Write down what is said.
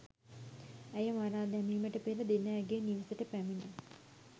ඇය මරා දැමිමට පෙර දින ඇගේ නිවසට පැමිණ